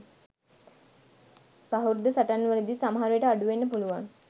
සහෘද සටහන්වලදී සමහර විට අඩු වෙන්න පුළුවන්.